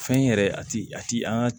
Fɛn yɛrɛ a ti a ti an ga